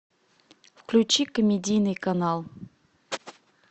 включи комедийный канал